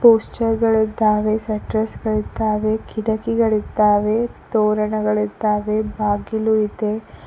ಪೋಸ್ಟರ್ಸ್ಗಳಿದ್ದವೇ ಶಟರ್ಸ್ಗಳಿದ್ದಾವೆ ಕಿಟಕಿಗಳಿದ್ದಾವೆ ತೋರಣಗಳಿದ್ದಾವೆ ಬಾಗಿಲು ಇದೆ.